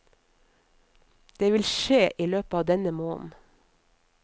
Det vil skje i løpet av denne måneden.